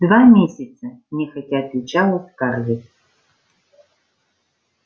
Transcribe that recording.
два месяца нехотя отвечала скарлетт